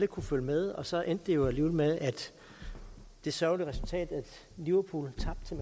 kunne følge med og så endte det jo alligevel med det sørgelige resultat at liverpool